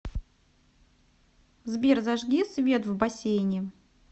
сбер зажги свет в бассейне